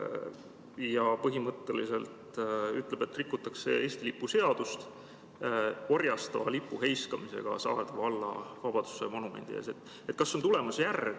" Ta põhimõtteliselt ütleb, et orjastava lipu heiskamisega Saarde valla vabadussõja monumendi ees rikutakse Eesti lipu seadust.